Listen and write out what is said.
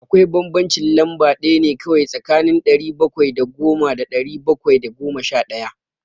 Akwai bambancin lamba ɗaya ne kawai tsakanin ɗari bakwai da goma da ɗari bakwai da goma sha ɗaya.